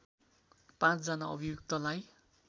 ५ जना अभियुक्तलाई